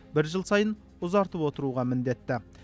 бір жыл сайын ұзартып отыруға міндетті